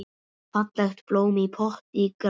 Fallegt blóm í potti grær.